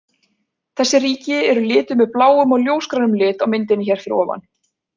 Þessi ríki eru lituð með bláum og ljósgrænum lit á myndinni hér fyrir ofan.